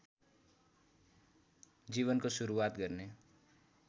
जीवनको सुरुवात गर्ने